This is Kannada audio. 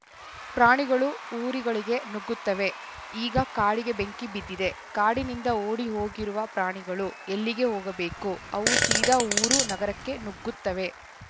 ಪ್ರಾಣಿಗಳು ಊರುಗಳಿಗೆ ನುಗ್ಗುತ್ತವೆ ಈಗ ಕಾಡಿಗೆ ಬೆಂಕಿ ಬಿದ್ದಿದೆ ಕಾಡಿನಿಂದ ಓಡಿ ಹೋಗಿರುವ ಪ್ರಾಣಿಗಳು ಎಲ್ಲಿಗೆ ಹೋಗಬೇಕು ಅವು ಸೀದಾ ಊರು ನಗರಕ್ಕೆ ನುಗ್ಗುತ್ತವೆ